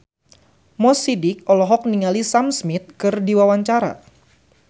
Mo Sidik olohok ningali Sam Smith keur diwawancara